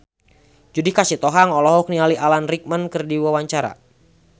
Judika Sitohang olohok ningali Alan Rickman keur diwawancara